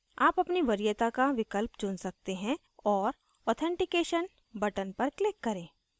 आप अपनी वरीयता का विकल्प चुन सकते हैं और authentication button पर click करें